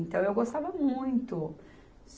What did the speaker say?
Então, eu gostava muito.